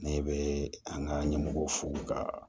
Ne bɛ an ka ɲɛmɔgɔw fo ka